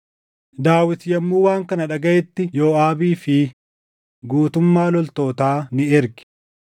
Daawit yommuu waan kana dhagaʼetti Yooʼaabii fi guutummaa loltootaa ni erge.